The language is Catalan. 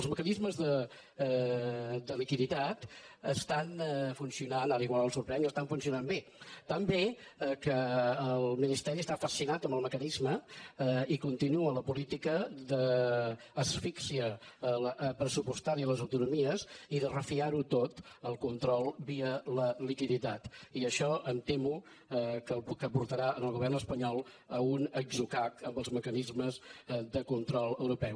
els mecanismes de liquiditat estan funcionant ara igual el sorprenc estan funcionant bé tan bé que el ministeri està fascinat amb el mecanisme i continua la política d’asfíxia pressupostària a les autonomies i de refiar ho tot al control via liquiditat i això em temo que portarà el govern espanyol a un atzucac amb els mecanismes de control europeu